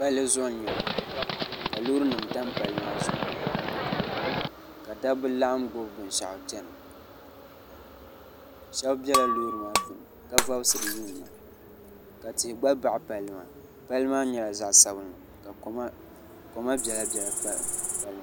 pali zuɣ n nyɛli ka lorinim tampali maa zuɣ' ka da ba laɣim gbabi bɛni shɛgu chɛna shɛbi bɛla lori maa puuni ka vubisiri yunina la tihi gba baɣ' pali maa pali maa gba nyɛla zaɣ' sabinli ka koma bɛlabɛla pa pali maa